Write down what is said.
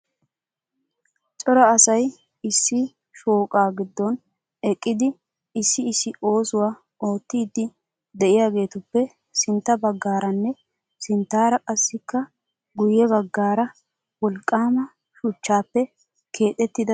Cora asay issi shooqaa giddon eqqidi issi issi oosuwa oottiiddi de'iyageetuppe sintta baggaaranne sinttaar qassikka guyye baggaara wolqqaama shuchchaappe keexettida keettay eqqiis.